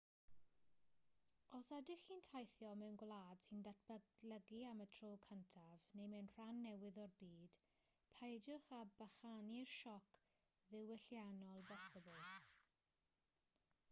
os ydych chi'n teithio mewn gwlad sy'n datblygu am y tro cyntaf neu mewn rhan newydd o'r byd peidiwch â bychanu'r sioc ddiwylliannol bosibl